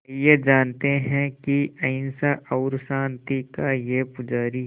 आइए जानते हैं कि अहिंसा और शांति का ये पुजारी